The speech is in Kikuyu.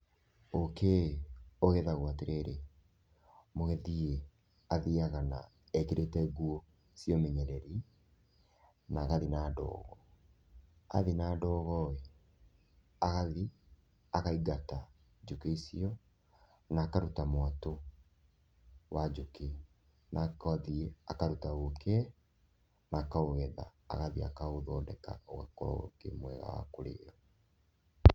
Ũũkĩ ũgethagwo atĩrĩrĩ, mũgethĩ athiaga na..ekĩrĩte nguo cia ũmenyereri na agathiĩ na ndogo. Athiĩ na ndogo rĩ, agathiĩ akaingata njũkĩ icio na akaruta mwatũ wa njũkĩ na agathiĩ akaruta ũũkĩ na akaũgetha, agathiĩ akaũthondeka ũgakorwo ũũkĩ mwega wa kũrĩo.